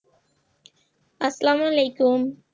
আসসালামু আলাইকুম